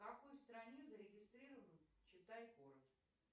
в какой стране зарегистрирован читай город